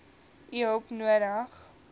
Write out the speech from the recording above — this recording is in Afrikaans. u hulp nodig